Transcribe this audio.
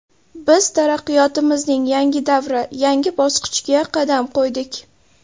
Biz taraqqiyotimizning yangi davri, yangi bosqichiga qadam qo‘ydik.